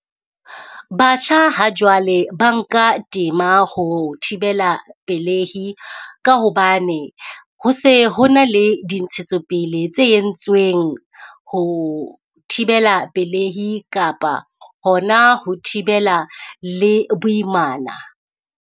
Batjha ha jwale ba nka tema ho thibela pelehi ka hobane, ho se ho na le di ntshetsopele tse entsweng ho thibela pelehi kapa hona ho thibela le boimana.